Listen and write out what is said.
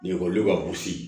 Ni ekɔli ka gosi